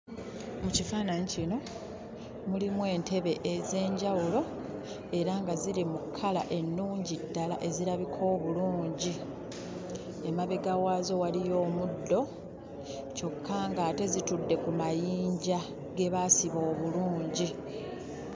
Mu kifaananyi kino mulimu entebe ez'enjawulo era nga ziri mu kkala ennungi ddala ezirabika obulungi. Emabega waazo waliyo omuddo kyokka ng'ate zitudde ku mayinja ge baasiba obulungi.